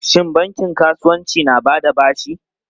Shin bankin kasuwanci na ba da bashi?